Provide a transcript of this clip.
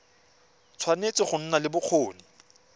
tshwanetse go nna le bokgoni